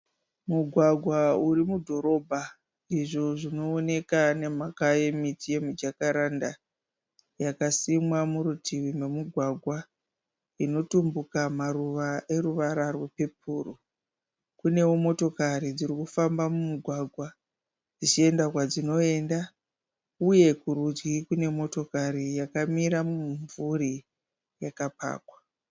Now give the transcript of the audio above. Mugwagwa uri mudhorobha. Izvo zvinoonekwa nemhaka yemiti yemijakaranda yakasimwa murutivi memugwagwa, inotumbuka maruva eruvara rwepepuru. Kunewo motokari dziri kufamba mugwagwa dzichienda kwadzinoenda. Uye kurudyi kune motokari yakamira mumumvuri yakapakwa.